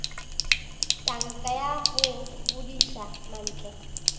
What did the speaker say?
tanka ya go bodiša mantle